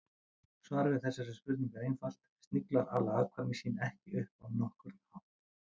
Svarið við þessari spurningu er einfalt: Sniglar ala afkvæmi sín ekki upp á nokkurn hátt.